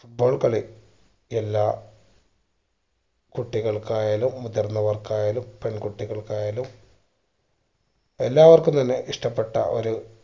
foot ball കളി എല്ലാ കുട്ടികൾക്കായാലും മുതിർന്നവർക്കായാലും പെൺകുട്ടികൾക്കായാലും എല്ലാവർക്കും തന്നെ ഇഷ്ട്ടപ്പെട്ട ഒരു